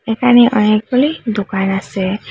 এখানে অনেকগুলি দোকান আসে ।